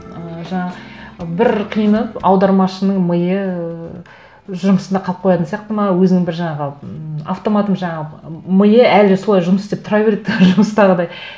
ы жаңағы бір қиыны аудармашының миы жұмысында қалып қоятын сияқты ма өзінің бір жаңағы м автоматом жаңағы миы әлі солай жұмыс істеп тұра береді тоже жұмыстағыдай